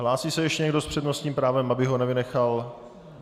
Hlásí se ještě někdo s přednostním právem, abych ho nevynechal?